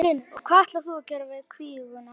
Magnús Hlynur: Og hvað ætlar þú að gera við kvíguna?